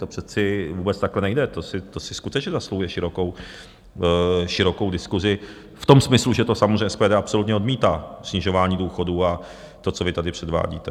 To přece vůbec takhle nejde, to si skutečně zasluhuje širokou diskusi v tom smyslu, že to samozřejmě SPD absolutně odmítá, snižování důchodů a to, co vy tady předvádíte.